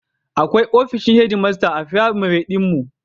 Akwai ofishin hedmasta a firamare ɗin mu.